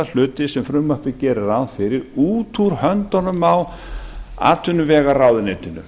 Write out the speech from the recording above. hluti sem frumvarpið gerir ráð fyrir út úr höndunum á atvinnuvegaráðuneytinu